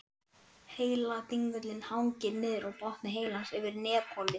Heiladingullinn hangir niður úr botni heilans yfir nefholi.